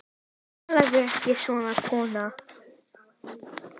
Talaðu ekki svona, kona!